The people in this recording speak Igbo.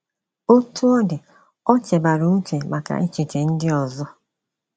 Otú ọ dị, ọ chebaara uche maka echiche ndị ozo.